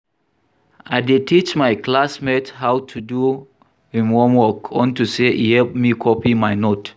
I dey teach my classmate how to do im homework unto say e help me copy my note